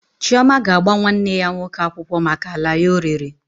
Chioma ga-agba nwanne ya nwoke akwụkwọ maka ala ya o rere